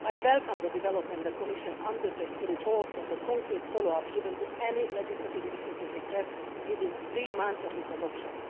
I welcome the development that the Commission undertakes to report on the concrete follow up given to any legislative initiative requests within three months of its adoption